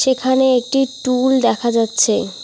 এখানে একটি টুল দেখা যাচ্ছে।